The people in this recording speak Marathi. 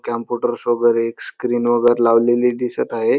कांपूटर समोर एक स्क्रीन वगैरे लावलेली दिसत आहे.